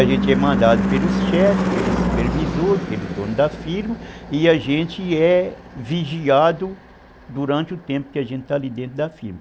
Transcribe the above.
A gente é mandado pelos chefes, pelo supervisor, pelo dono da firma, e a gente é vigiado durante o tempo que a gente está ali dentro da firma.